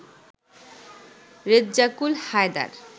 Rezzakul Haider